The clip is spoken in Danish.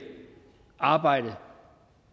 arbejde